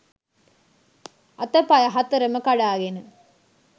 අතපය හතරම කඩාගෙන